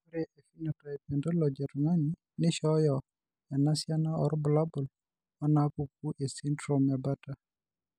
Ore ephenotype ontology etung'ani neishooyo enasiana oorbulabul onaapuku esindirom eBartter.